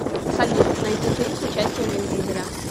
салют найти фильм с участием вин дизеля